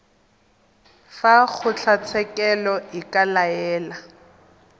fa kgotlatshekelo e ka laela